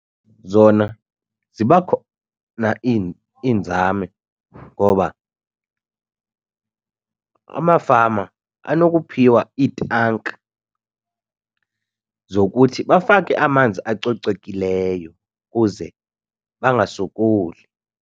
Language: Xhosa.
Zona ziba khona iinzame ngoba amafama anokuphiwa iitanki zokuthi bafake amanzi acocekileyo kuze bangasokoli.